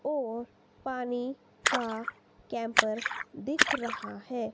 और पानी का कैंपर दिख रहा है।